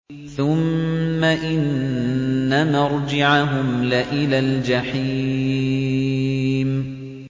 ثُمَّ إِنَّ مَرْجِعَهُمْ لَإِلَى الْجَحِيمِ